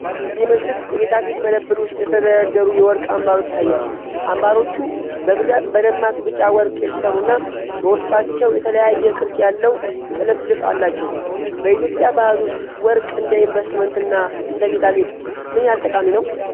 ይህ ምስል የጌጣጌጥ መደብር ውስጥ የተደረደሩ የወርቅ አምባሮች ያሳያል። አምባሮቹ በብዛት በደማቅ ቢጫ ወርቅ የተሠሩና በውስጣቸው የተለያየ ቅርጽ ያለው ጥልፍልፍ አላቸው። በኢትዮጵያ ባህል ውስጥ ወርቅ እንደ ኢንቨስትመንትና እንደ ጌጣጌጥ ምን ያህል ጠቃሚ ነው?